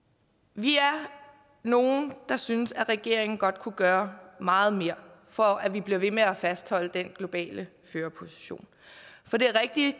vi er nogle der synes at regeringen godt kunne gøre meget mere for at vi bliver ved med at fastholde den globale førerposition for det er rigtigt